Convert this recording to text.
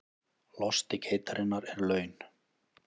Losti geitarinnar er laun